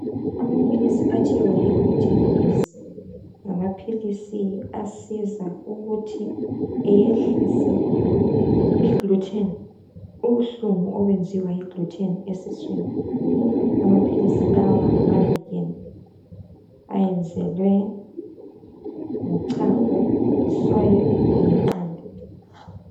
Amaphilisi athiwa yi GlutenEase ngamaphilisi asiza ukuthi eyehlise i gluten , ubuhlungu obenziwa yi gluten esiswini amaphilisi lawa ngamawama vegan eyenzwe ngochago i soya langeqanda.